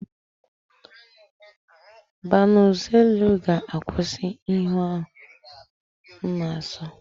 Banuzelu ga-akwụsị ihe ahu m na-aso.